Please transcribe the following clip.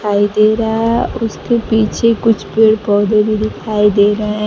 दिखाई दे रहा है उसके पीछे कुछ पेड़ पौधे भी दिखाई दे रहे--